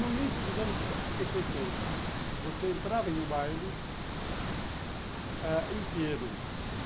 No início dos anos sessenta, você entrava em um baile inteiro.